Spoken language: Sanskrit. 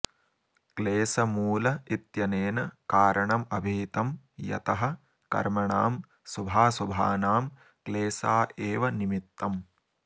क्लेशमूल इत्यनेन कारणमभिहितं यतः कर्मणां शुभाशुभानां क्लेशा एव निमित्तम्